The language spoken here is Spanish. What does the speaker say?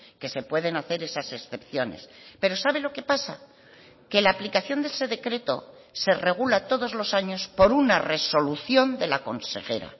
que se pueden hacer esas excepciones pero sabe lo que pasa que la aplicación de ese decreto se regula todos los años por una resolución de la consejera